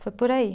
Foi por aí.